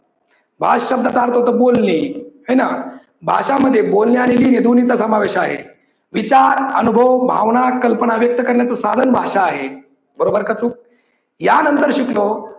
भाष शब्दाचा अर्थ होतो बोलणे, हाय ना! भाषा मध्ये बोलणे आणि लिहीने दोन्ही चा समावेश आहे. विचार, अनुभ, भावना, कल्पना व्यक्त करण्याच साधन भाषा आहे. बरोबर का चूक? या नंतर शिकलो